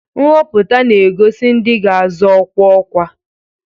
Nhọpụta na-egosi ndị ga-azọ ọkwa ọkwa.